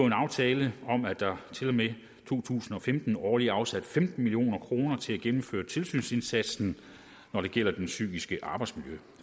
en aftale om at der til og med to tusind og femten årligt afsættes femten million kroner til at gennemføre en tilsynsindsats når det gælder det psykiske arbejdsmiljø